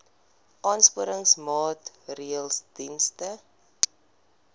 aansporingsmaatre ls diens